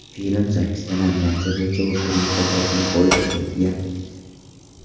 Film sakkizta nominatsiya bo‘yicha Oskar mukofotini qo‘lga kiritgan.